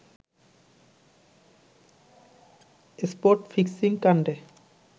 spot ফিক্সিংকাণ্ডে